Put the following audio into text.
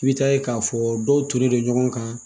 I bi taa ye k'a fɔ dɔw tolen don ɲɔgɔn kan